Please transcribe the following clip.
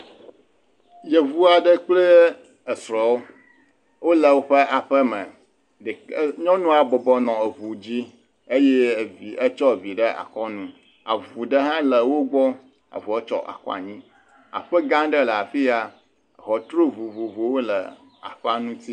Yuvu aɖe kple esrɔ̃ wole woƒe aƒe me, ɖeka..nyɔnua bɔbɔ nɔ eŋu dzi eye etsɔ vi ɖe akɔ nu, avu hã le wo gbɔ, avua tsɔ akɔ anyi.